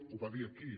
ho va dir aquí